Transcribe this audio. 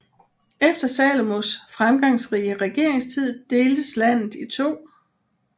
Efter Salomos fremgangsrige regeringstid deltes landet i to